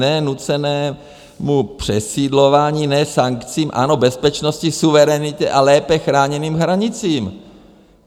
Ne nucenému přesídlování, ne sankcím, ano bezpečnosti, suverenitě a lépe chráněným hranicím.